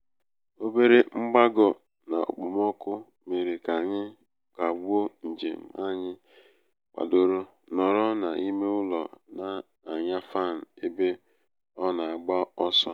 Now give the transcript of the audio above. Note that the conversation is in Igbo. obere mgbago n'okpomọkụ mere ka anyi um kagbuo njem anyị kwadoro nọrọ n'ime um ụlọ na-anya fanị ebe ọ na -agba ọsọ.